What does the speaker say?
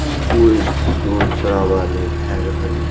कोई शोर-शराबा ने भाय रहल --